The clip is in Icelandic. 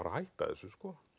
að hætta þessu